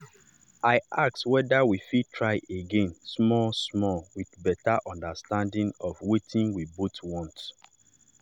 i ask whether we fit try again small-small with better understanding of wetin we both want.